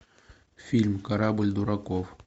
фильм корабль дураков